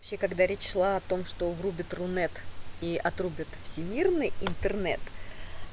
вообще когда речь шла о том что врубят рунет и отрубят всемирный интернет